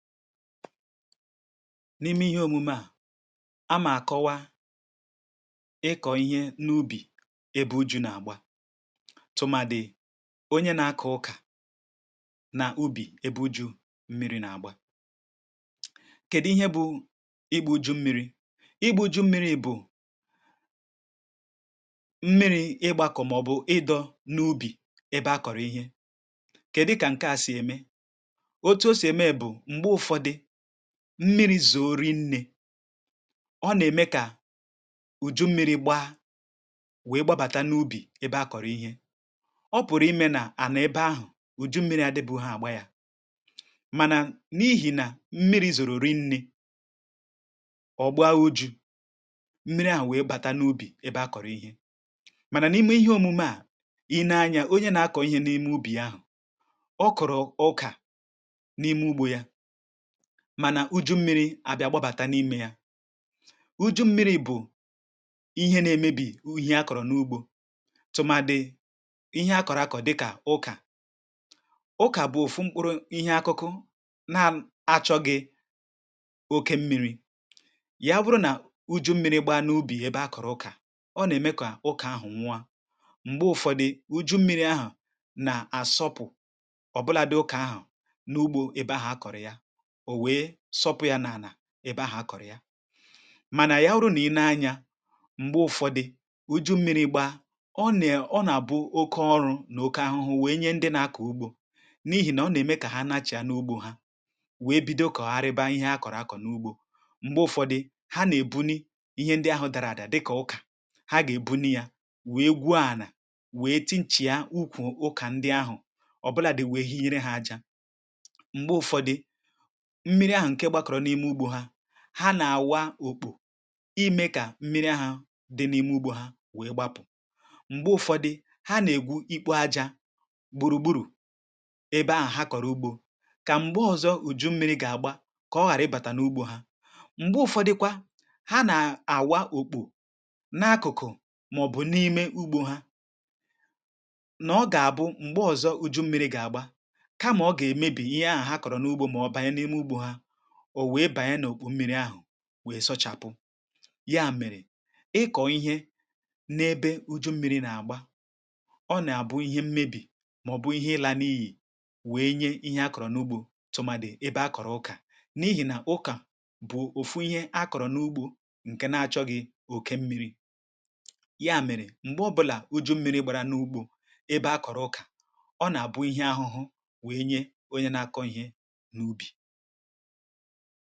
N’ime ihe òmume à, a mà kọwa ịkọ̀ ihe n’ubì — èbu ju na-agbà, tụmàdị̀ onye nà-akọ̀ ụkà n’ubì ebe ju mmiri̇ nà-agbà. Kèdù ihe bụ̇ igbu ju mmiri? Igbu ju mmiri bụ̀ mmiri̇ ịgbakọ̀, màọ̀bụ̀ ịdọ̇ n’ubì ebe a kọ̀rọ̀ ihe. um Kèdù kà nke à sì ème? Otu o sì ème bụ̀ mmiri zòrò inė; ọ nà-ème kà ùju mmiri gbaa wèe gbabàtà n’ubì ebe a kọ̀rọ̀ ihe. Ọ pụ̀rụ̀ imė nà ànà ebe ahụ̀ ùju mmiri adịbụhọ àgba yȧ, mànà n’ihì nà mmiri zòrò rinnė, ọ̀ gbaa oju̇ mmiri à wèe gbàtanu ugbȯ ebe a kọ̀rọ̀ ihe. Mànà n’ime ihe òmume à, um i nēe anyȧ onye nà-akọ̀ ihe n’ime ugbȯ ahụ̀, ọ kọ̀rọ̀ ọkà n’ime ugbȯ yà, mànà ùju ḿmi̇ri̇ abịa gbabàtà n’ime yà. Ùju ḿmi̇ri̇ bụ̀ ihe nà-èmébì ùju akọ̀rọ̀ n’ugbȯ, tụ̀màdị̀ ihe akọ̀rọ̀ akọ̀, dịkà ụkà. Ụkà bụ òfù mkpụrụ ihe àkàkụ̀ nà-achọ̇ghị̇ oke mmi̇ri̇; yà bụrụ nà ùju ḿmi̇ri̇ gbàa n’ubì ebe a kọ̀rọ̀ ụkà, ọ nà-ème kà ụkà ahụ̀ nwa.(um) M̀gbè Ụ̀fọ̇dụ̀ ùju ḿmi̇ri̇ ahụ̀ nà àsọpụ̀, ọ̀bụlàdị̀ ụkà ahụ̀ n’ugbȯ ebe ahụ̀ akọ̀rụ̀ yà, ọ wèe sọpụ̇ yȧ n’ànà ebe ahụ̀ akọ̀rọ̀ yà. Mànà yà ọrụ, nà i nēe anyȧ, m̀gbè Ụ̀fọ̇dụ̀ ùju mmiri̇ gbaa, ọ nà-àbụ oke ọrụ̇ nà oke ahụhụ, wèe nye ndị nà-akọ̀ ugbȯ; n’ihì nà ọ nà-ème kà hà na-achị̇ yà n’ugbȯ hà, wèe bido kọ̀rọ̀ arịba ihe hà kọ̀rọ̀ akọ̀ n’ugbȯ. M̀gbè Ụ̀fọ̇dị̀ hà nà-èbu n’ihe ndị ahụ̀ dàrà àdị, dịkà ụkà, hà gà-èbu n’yà wèe gwuo ànà, wèe tinchi̇a ụkwù ụkà ndị ahụ̀. um Ọbụladị̇ wèe hi nyere hà ajȧ. M̀gbè Ụ̀fọ̇dị̀ hà nà-àwa òkpù, imė kà mmiri̇ hà dị̇ n’ime ugbȯ hà wèe gbapụ̀. M̀gbè Ụ̀fọ̇dị̀ hà nà-ègwu ikpu ajȧ gbùrùgburù ebe ahụ̀ hà kọ̀rọ̀ ugbȯ, kà m̀gbè ọzọ ùju mmiri̇ gà-àgba, kà ọ ghàrà ịbàtà n’ugbȯ hà.(um) M̀gbè Ụ̀fọ̇dị̀kwà hà nà-àwà òkpù n’akụ̀kụ̀, màọ̀bụ̀ n’imė ugbȯ hà, nà ọ gà-àbụ m̀gbè ọzọ ùju mmiri̇ gà-àgba, ọ wèe bàana òkpù mmi̇ri̇ ahụ̀ wèe sọchàpụ yà. Mèrè, ị kọ̀ọ ihe n’ebe ùju mmi̇ri̇ nà-àgba, ọ nà-àbụ ihe mmebì, màọ̀bụ̀ ihe ị laa; n’ihì wèe nye ihe akọ̀rọ̀ n’ugbȯ, tụ̀màdị̀ ebe a kọ̀rọ̀ ụkà, n’ihì nà ụkà bụ̀ òfù ihe a kọ̀rọ̀ n’ugbȯ ǹkè nà-achọ gị̇ òke mmi̇ri̇.Mèrè, um m̀gbè ọbụlà ùju mmi̇ri̇ gbàrà n’ugbȯ ebe a kọ̀rọ̀ ụkà, ọ nà-àbụ ihe ahụhụ, wèe nye onye nà-akọ̀ ihe n’ubì. Màkà òdiri speed ahụ̀, o jì à gba ọsọ̇, o yà ẹ̀ mẹru, um ezi̇gbòte àhụ̀. Ọ nà-àdị mmȧ, kà ànyị gwakwa, um umùakȧ nà í gbȧ òdiri ọsọ̇ à, à nà-àdịcha mmȧ, màkà í dààdà, kòtere ònwegi̇ òfù nsògbu; í gà hà pùtawu nà yà.